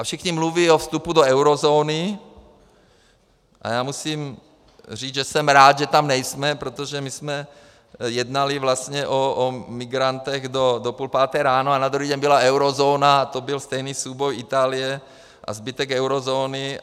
A všichni mluví o vstupu do eurozóny a já musím říct, že jsem rád, že tam nejsme, protože my jsme jednali vlastně o migrantech do půl páté ráno a na druhý den byla eurozóna a to byl stejný souboj Itálie a zbytek eurozóny.